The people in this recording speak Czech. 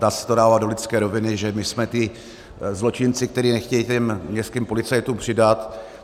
Dá se to dávat do lidské roviny, že my jsme ti zločinci, kteří nechtějí těm městským policistům přidat.